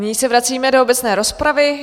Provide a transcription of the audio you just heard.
Nyní se vracíme do obecné rozpravy.